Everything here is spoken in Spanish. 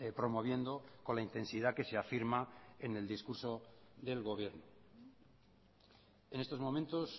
promoviendo con la intensidad que se afirma en el discurso del gobierno en estos momentos